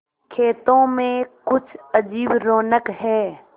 खेतों में कुछ अजीब रौनक है